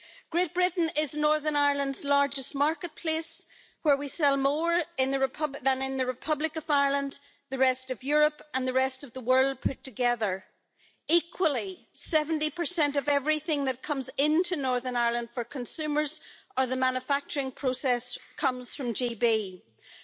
Great Britain is Northern Ireland's largest market place, where we sell more than in the Republic of Ireland, the rest of Europe and the rest of the world put together. Equally, 70 of everything that comes into Northern Ireland for consumers and the manufacturing process comes from Great Britain.